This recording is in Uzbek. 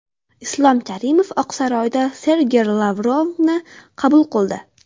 Islom Karimov Oqsaroyda Sergey Lavrovni qabul qildi.